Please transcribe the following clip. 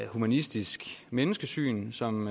humanistisk menneskesyn som